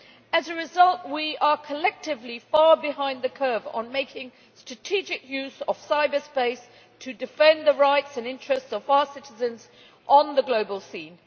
As a result, we are collectively far behind the curve on making strategic use of cyberspace to defend the rights and interests of our citizens on the global scene.